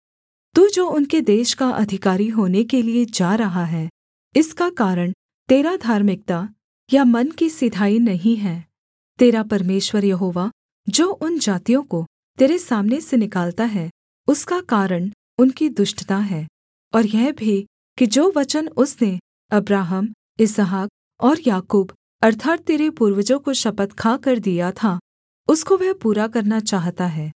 तू जो उनके देश का अधिकारी होने के लिये जा रहा है इसका कारण तेरा धार्मिकता या मन की सिधाई नहीं है तेरा परमेश्वर यहोवा जो उन जातियों को तेरे सामने से निकालता है उसका कारण उनकी दुष्टता है और यह भी कि जो वचन उसने अब्राहम इसहाक और याकूब अर्थात् तेरे पूर्वजों को शपथ खाकर दिया था उसको वह पूरा करना चाहता है